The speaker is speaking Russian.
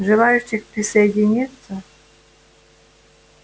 желающих присоединиться